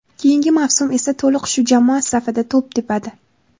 Keyingi mavsum esa to‘liq shu jamoa safida to‘p tepadi.